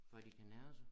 For de kan nære sig